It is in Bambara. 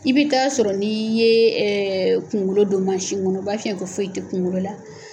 I bɛ taa sɔrɔ n'i ye kuŋolo don mansin ŋɔnɔ o b'a f'i ɲɛ ko foyi te kuŋolo la